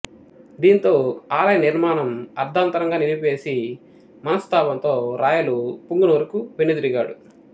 దీంతో ఆలయ నిర్మాణం అర్ధాంతరంగా నిలిపేసి మనస్ధాపంతో రాయలు పుంగనూరుకు వెనుదిరిగాడు